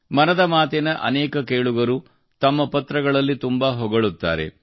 ಮನದ ಮಾತಿನ ಅನೇಕ ಕೇಳುಗರು ತಮ್ಮ ಪತ್ರಗಳಲ್ಲಿ ತುಂಬಾ ಹೊಗಳುತ್ತಾರೆ